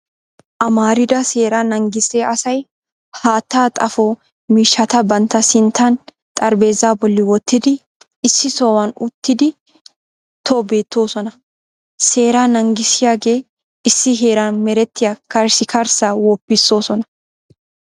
Amarida seeraa naagissiya asay haatta xaafo miishshata bantta sinttan xaraphpheezzaa bolli wottidi issi sohuwan uttidi tobettoosona. Seera naagissiyaagee issi heeran merettiya karssikarssaa woppissoosona.